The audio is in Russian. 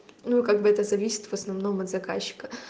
ну как бы это зависит в основном от заказчика